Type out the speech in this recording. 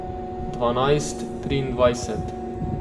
Dvanajst triindvajset.